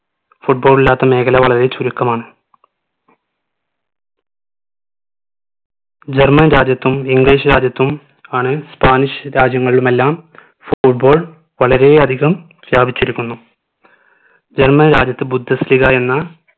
german രാജ്യത്തും english രാജ്യത്തും ആണ് spanish രാജ്യങ്ങളിലുമെല്ലാം football വളരെയധികം വ്യാപിച്ചിരിക്കുന്നു german രാജ്യത്ത് ബുദ്ധസ്ഥിതിക എന്ന